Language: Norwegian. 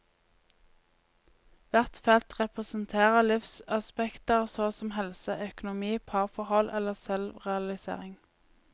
Hvert felt representerer livsaspekter såsom helse, økonomi, parforhold eller selvrealisering.